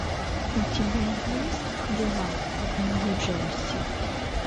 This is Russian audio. у тебя есть дела в нью джерси